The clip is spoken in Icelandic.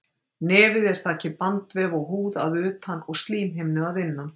Nefið er þakið bandvef og húð að utan og slímhimnu að innan.